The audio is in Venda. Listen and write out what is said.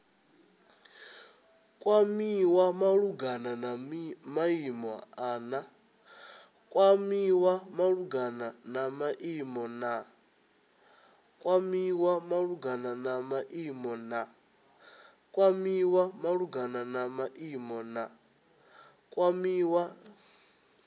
kwamiwa malugana na maimo na